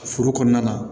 Foro kɔnɔna na